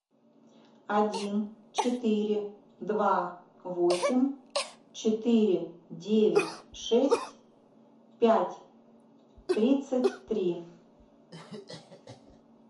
один четыре два восемь четыре девять шесть пять тридцать три